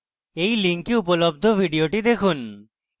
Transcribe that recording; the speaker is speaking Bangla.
এই link উপলব্ধ video দেখুন